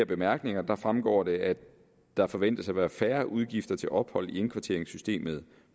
bemærkninger fremgår det at der forventes at være færre udgifter til ophold i indkvarteringssystemet